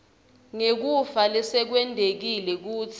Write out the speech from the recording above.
ngekufa lesekwentekile kuze